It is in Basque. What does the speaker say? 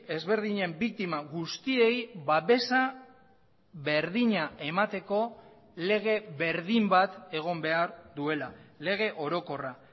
ezberdinen biktima guztiei babesa berdina emateko lege berdin bat egon behar duela lege orokorra